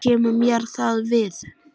Hvað kemur mér það við?